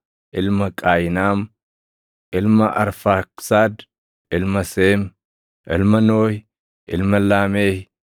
ilma Qaayinaam ilma Arfaaksaad, ilma Seem, ilma Nohi, ilma Laamehi,